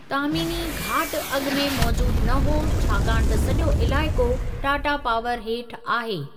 तामीनी घाट अॻु में मौजूदु न हो छाकाणि त सॼो इलाइक़ो टाटा पावर हेठि आहे।